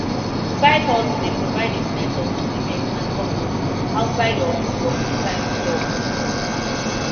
sidehustle dey provide a sense of fulfillment and purpose outside of your fulltime job